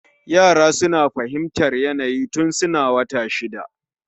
Yara suna fahimtar yanayi tun suna wata shida